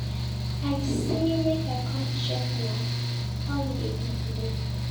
I say make I come check know how you dey do today.